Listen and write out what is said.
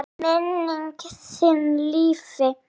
Minning þín lifi.